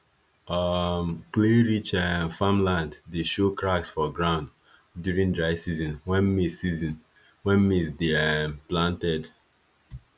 um clayrich um farmland dey show cracks for ground during dry season when maize season when maize dey um planted